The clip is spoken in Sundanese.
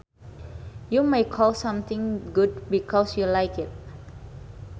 You may call something good because you like it